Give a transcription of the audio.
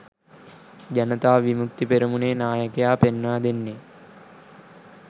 ජනතා විමුක්ති පෙරමුණේ නායකයා පෙන්වා දෙන්නේ.